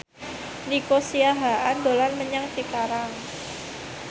Nico Siahaan dolan menyang Cikarang